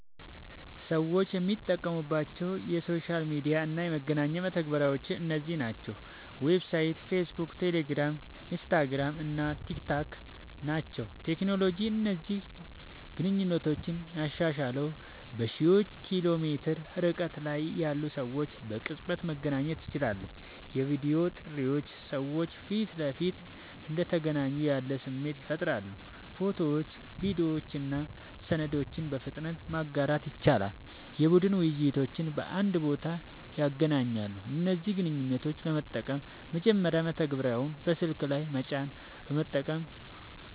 ሰዎች የሚጠቀሙባቸው የሶሻል ሚዲያ እና የመገናኛ መተግበሪያዎች እነዚህ ናቸው፦ ዋትስአፕ፣ ፌስቡክ፣ ቴሌግራም፣ ኢንስታግራም እና ቲክታክ ናቸዉ።.ቴክኖሎጂ እነዚህን ግንኙነቶች ያሻሻለዉ፦ በሺዎች ኪሎ ሜትር ርቀት ላይ ያሉ ሰዎች በቅጽበት መገናኘት ይችላሉ። የቪዲዮ ጥሪዎች ሰዎች ፊት ለፊት እንደተገናኙ ያለ ስሜት ይፈጥራሉ። ፎቶዎችን፣ ቪዲዮዎችን እና ሰነዶችን በፍጥነት ማጋራት ይችላሉ። የቡድን ውይይቶችን በአንድ ቦታ ያገናኛሉ። እነዚህን ግንኙነቶች ለመጠቀም፦ መጀመሪያ መተግበሪያውን በስልክ ላይ መጫን፣ በመቀጠል